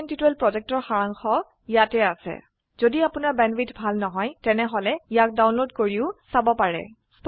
কথন শিক্ষণ প্ৰকল্পৰ সাৰাংশ ইয়াত আছে যদি আপোনাৰ বেণ্ডৱিডথ ভাল নহয় তেনেহলে ইয়াক ডাউনলোড কৰি চাব পাৰে